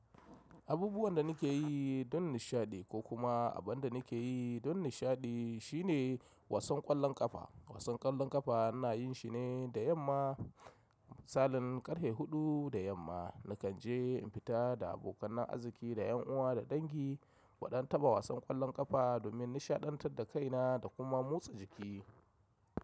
Abubuwan da nake yi don nishaɗi ko kuma abin da nake yi don nishaɗi shine wasan ƙwallon ƙafa. Wasan ƙwallon ƙafa na yin shi ne da yamma. Salin ƙarfe huɗu da yamma na kan je in fita da abokanan azziki da yan uwa da dangi, muɗan taɓa wasan ƙwallon ƙafa domin nishaɗantar da kaina da kuma motsa jiki.